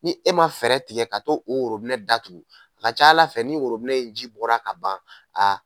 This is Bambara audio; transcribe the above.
Ni e ma fɛɛrɛ tigɛ ka taa o worobinɛ datugu a ka ca ala fɛ ni worobinɛ in ji bɔra ka ban. Aa